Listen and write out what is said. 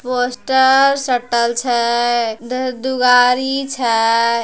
पोस्टर सटल छे धर दुआरी छे।